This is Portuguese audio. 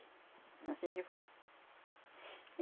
É anssim que foi.